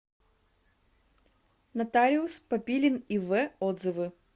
нотариус папилин ив отзывы